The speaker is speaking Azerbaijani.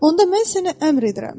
Onda mən sənə əmr edirəm.